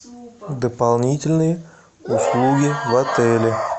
дополнительные услуги в отеле